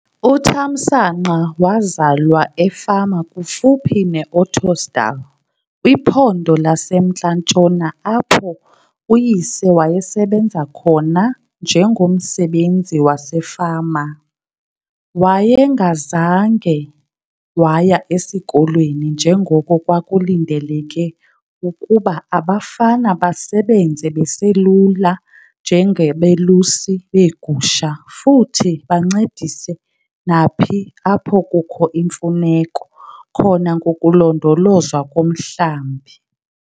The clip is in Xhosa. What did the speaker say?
UThamsanqa wazalwa efama kufuphi neOttosdal kwiPhondo laseMntla Ntshona apho uyise wayesebenza khona njengomsebenzi wasefama. Wayengazange waya esikolweni njengoko, kwakulindeleke ukuba abafana basebenze beselula njengabelusi beegusha futhi bancedise naphi apho kukho imfuneko khona ngokulondolozwa komhlambi.